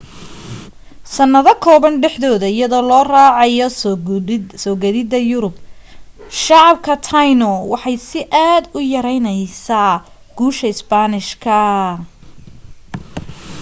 sanado kooban dhexdooda iyadoo la raacayo soo gadhida yurub shacab ka taino waxay si aad u yareynaysaa guusha spanish ka